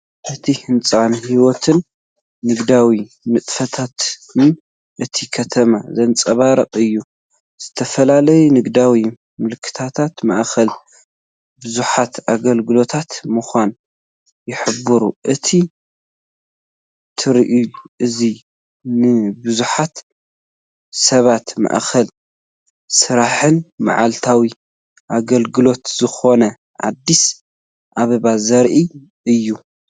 እቲ ህንጻ ንህይወትን ንግዳዊ ንጥፈታትን እታ ከተማ ዘንጸባርቕ እዩ። ዝተፈላለዩ ንግዳዊ ምልክታት ማእኸል ብዙሓት ኣገልግሎታት ምዃና ይሕብሩ። እዚ ትርኢት እዚ ንብዙሓት ሰባት ማእኸል ስራሕን መዓልታዊ ኣገልግሎትን ዝኾነት ኣዲስ ኣበባ ዘርኢ እዩ።